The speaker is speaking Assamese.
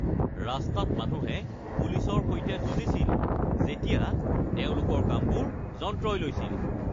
ৰাস্তাত মানুহে পুলিচৰ সৈতে যুঁজিছিল যেতিয়া তেওঁলোকৰ কামবোৰ যন্ত্ৰই লৈছিল